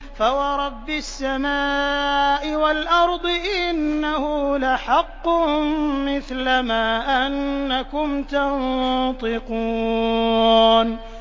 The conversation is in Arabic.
فَوَرَبِّ السَّمَاءِ وَالْأَرْضِ إِنَّهُ لَحَقٌّ مِّثْلَ مَا أَنَّكُمْ تَنطِقُونَ